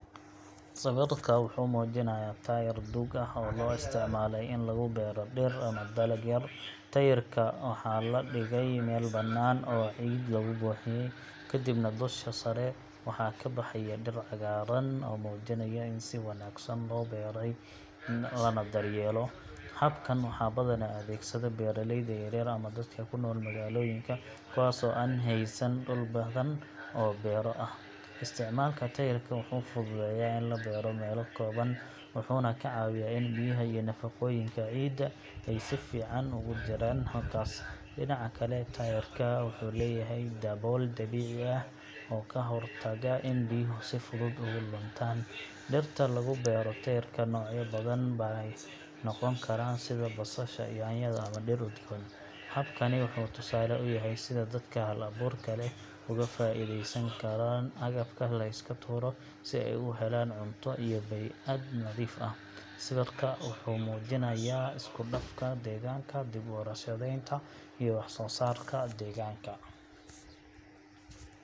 Sawirka wuxuu muujinayaa taayir duug ah oo loo isticmaalay in lagu beero dhir ama dalag yar. Taayirka waxaa la dhigay meel bannaan oo ciid lagu buuxiyay, kadibna dusha sare waxaa ka baxaya dhir cagaaran oo muujinaya in si wanaagsan loo waraabiyo lana daryeelo. Habkan waxaa badanaa adeegsada beeraleyda yaryar ama dadka ku nool magaalooyinka kuwaasoo aan haysan dhul badan oo beero ah. Isticmaalka taayirka wuxuu fududeeyaa in la beero meelo kooban, wuxuuna ka caawiyaa in biyaha iyo nafaqooyinka ciidda ay si fiican ugu jiraan halkaas. Dhinaca kale, taayirka wuxuu leeyahay dabool dabiici ah oo ka hortaga in biyuhu si fudud uga luntaan. Dhirta lagu beero taayirka noocyo badan bay noqon karaan sida basasha, yaanyada, ama dhir udgoon. Habkani wuxuu tusaale u yahay sida dadka hal-abuurka leh uga faa’iideysan karaan agabka la iska tuuro si ay u helaan cunto iyo bey'ad nadiif ah. Sawirka wuxuu muujinayaa isku dhafka deegaanka, dib u warshadaynta, iyo wax soo saarka deegaanka.